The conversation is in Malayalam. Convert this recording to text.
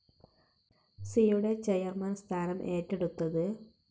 സിയുടെ ചെയർമാൻ സ്ഥാനം ഏറ്റെടുത്തത്.